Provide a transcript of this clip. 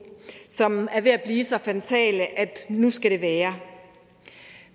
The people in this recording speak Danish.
som er ved at blive så fatale at nu skal det være